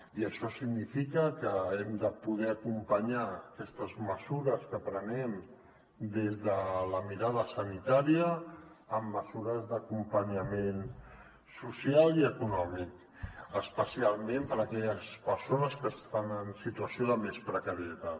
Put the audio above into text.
i això significa que hem de poder acompanyar aquestes mesures que prenem des de la mirada sanitària amb mesures d’acompanyament social i econòmic especialment per a aquelles persones que estan en situació de més precarietat